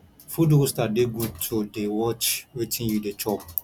food roaster de good to de watch wetin you de chop